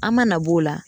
An mana b'o la